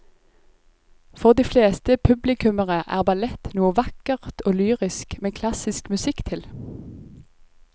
For de fleste publikummere er ballett noe vakkert og lyrisk med klassisk musikk til.